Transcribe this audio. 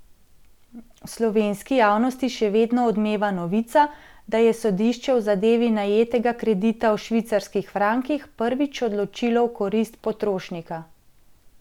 V slovenski javnosti še vedno odmeva novica, da je sodišče v zadevi najetega kredita v švicarskih frankih prvič odločilo v korist potrošnika.